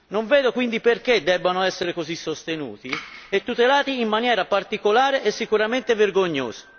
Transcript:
Non vedo quindi perché debbano essere così sostenuti e tutelati in maniera particolare e sicuramente vergognosa.